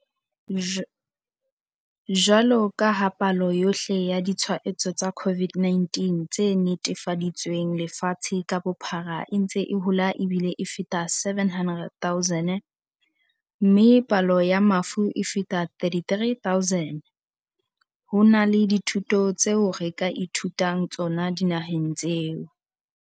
Jwaloka ha palo yohle ya ditshwaetso tsa COVID-19 tse netefaditsweng lefatshe ka bophara e ntse e hola ebile e feta 700 000, mme palo ya mafu e feta 33 000, ho na le dithuto tseo re ka ithutang tsona dinaheng tseo.